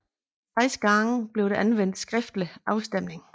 Seks gange blev der anvendt skriftlig afstemning